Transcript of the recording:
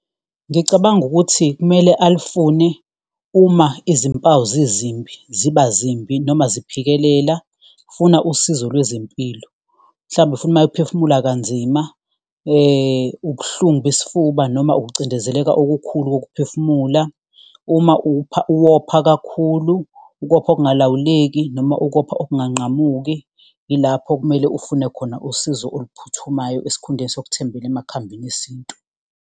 Ngicabanga ukuthi kumele alufune uma izimpawu zizimbi, ziba zimbi noma ziphikelela funa usizo lwezempilo, mhlawumbe futhi uma ephefumula kanzima, ubuhlungu besifuba noma ukucindezeleka okukhulu kokuphefumula. Uma uwopha kakhulu ukopha okungalawuleki, noma ukopha okunganqamuki ilapho okumele ufune khona usizo oluphuthumayo, esikhundleni sokuthembela emakhambini esintu.